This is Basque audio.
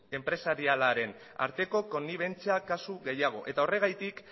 enpresarialaren arteko konnibentzia kasu gehiago eta horregatik